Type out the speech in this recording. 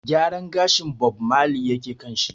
Gyaran gashin Bob Marley yake kan shi.